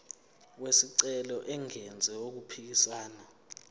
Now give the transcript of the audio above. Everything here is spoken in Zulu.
wesicelo engenzi okuphikisana